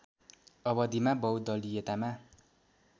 अवधिमा बहुदलीयतामा